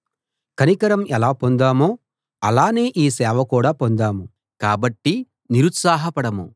కనికరం ఎలా పొందామో అలానే ఈ సేవ కూడా పొందాము కాబట్టి నిరుత్సాహపడము